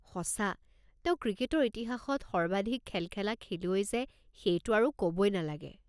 সঁচা। তেওঁ ক্ৰিকেটৰ ইতিহাসত সৰ্বাধিক খেল খেলা খেলুৱৈ যে সেইটো আৰু ক'বই নালাগে।